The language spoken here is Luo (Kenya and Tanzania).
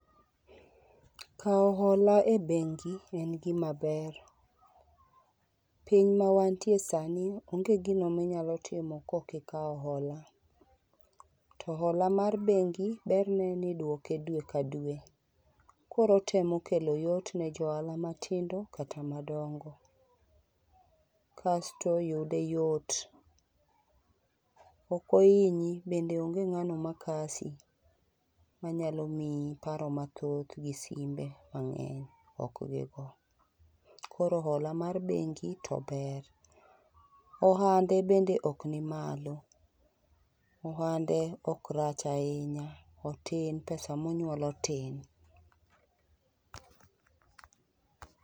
Kawo hola e bengi en gima ber, piny mawantie sani onge gino minyalo timo kokikawo hola. To hola mar bengi berne nidwoke dwe ka dwe, koro otemo kelo yot ne johala matindo kata madongo. Kasto yude yot, okohinyi bende onge ng'ano makasi manyalo miyi paro mathoth gi simbe mang'eny ok gigo. Koro hola mar bengi to ber, ohande bende ok ni malo. Ohande ok rach ahinya, otin, pesa monywolo tin.